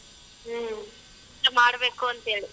ಹ್ಮ್.